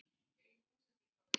Þetta er ekki bjart.